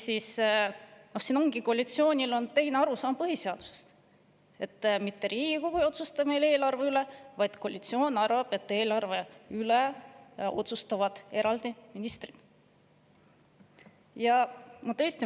Siin ongi koalitsioonil on põhiseadusest teistsugune arusaam: mitte Riigikogu ei otsusta meil eelarve üle, vaid koalitsioon arvab, et eelarve üle otsustavad ministrid.